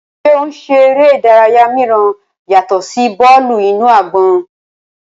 Ṣe o ń ṣe ere idaraya miiran yatọ si bọọlu-inu-agbọn?